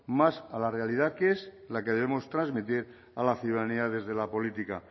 más a la realidad que es la que debemos transmitir a la ciudadanía desde la política